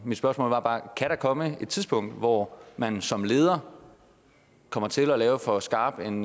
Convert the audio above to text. mit spørgsmål er bare kan der komme et tidspunkt hvor man som leder kommer til at lave for skarp en